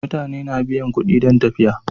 Mutane na biyan kuɗi don tafiya.